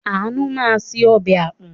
Àánú máa se ọbẹ̀ àpọ̀n.